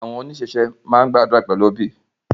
Awọn onisese maa n gbadura pẹlu obi